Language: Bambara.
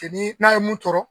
Teni n'a ye mun tɔɔrɔ.